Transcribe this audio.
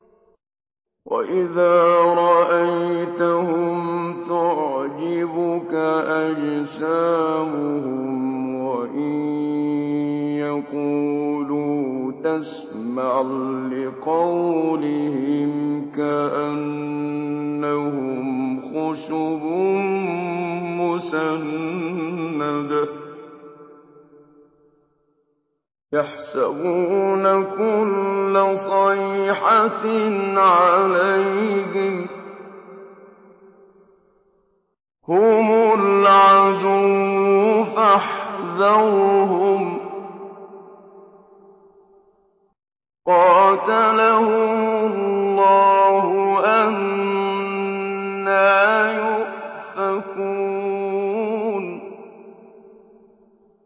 ۞ وَإِذَا رَأَيْتَهُمْ تُعْجِبُكَ أَجْسَامُهُمْ ۖ وَإِن يَقُولُوا تَسْمَعْ لِقَوْلِهِمْ ۖ كَأَنَّهُمْ خُشُبٌ مُّسَنَّدَةٌ ۖ يَحْسَبُونَ كُلَّ صَيْحَةٍ عَلَيْهِمْ ۚ هُمُ الْعَدُوُّ فَاحْذَرْهُمْ ۚ قَاتَلَهُمُ اللَّهُ ۖ أَنَّىٰ يُؤْفَكُونَ